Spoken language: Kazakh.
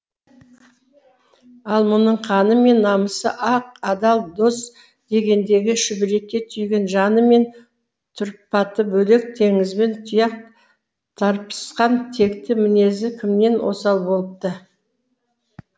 ал мұның қаны мен намысы ақ адал дос дегендегі шүберекке түйген жаны мен тұрпаты бөлек теңізбен тұяқ тарпысқан текті мінезі кімнен осал болыпты